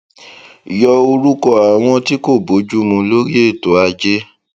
yọ orúkọ àwọn tí kò bójú mu lórí ètò ajé